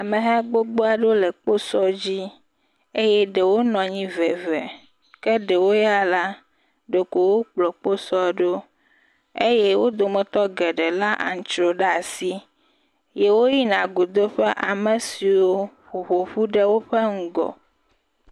Ameha gbogbo aɖewo le kposɔ dzi eye ɖewo nɔ anyi ve eve eye ɖewo ya la, ɖeko wo kplɔ kposɔ ɖo eye wo dometɔ geɖe lé antsrɔe ɖe asi ye woyina go do ƒe ame siwo ƒoƒu ɖe owƒe ŋgɔ.